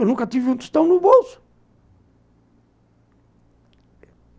Eu nunca tive um tostão no bolso.